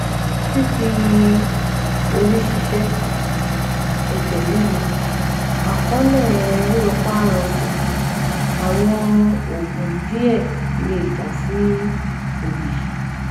Fífi orí ṣìṣe, ẹ̀jẹ̀ ríru, àkọọ́lẹ̀ rírọpa-rọsẹ̀, àwọn òògùn díẹ̀ lè já sí òòyì